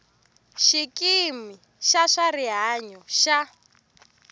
xikimi xa swa rihanyo xa